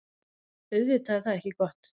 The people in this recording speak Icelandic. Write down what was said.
Auðvitað er það ekki gott.